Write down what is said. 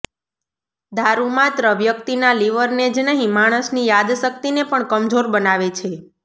દારૂ માત્ર વ્યક્તિના લિવરને જ નહી માણસની યાદશક્તિને પણ કમજોર બનાવે છે